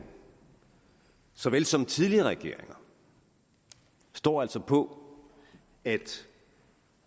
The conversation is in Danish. såvel som tidligere regeringer står altså fast på at